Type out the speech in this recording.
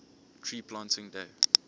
tree planting day